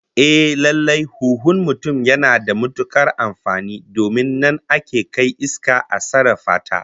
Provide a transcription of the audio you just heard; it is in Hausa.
Ehh, lallai huhun mutum yana da matukar amfani domin nan ake kai iska a sarrafa ta